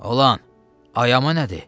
Olan, ayama nədir?